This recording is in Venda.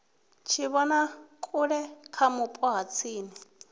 tshivhonakule kha vhupo ha tsini